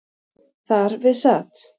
Þar við sat.